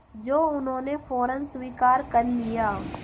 जो उन्होंने फ़ौरन स्वीकार कर लिया